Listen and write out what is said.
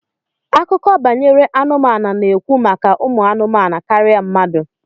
Akụkọ banyere anụmanụ na-ekwu maka umu anumanu karịa mmadụ